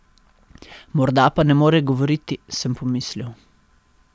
Morda pa ne more govoriti, sem pomislil.